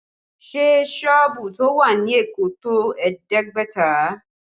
Ṣé sọ́ọ̀bù tó wà ní Èkó tó ẹ̀ẹ́dẹ́gbẹ̀ta?